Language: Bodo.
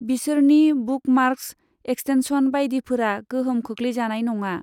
बिसोरनि बुकमार्क्स, एक्सटेनशन बायदिफोरा गोहोम खोख्लैजानाय नङा।